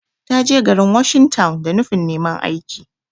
Ta je garin washing town da nufin neman aiki.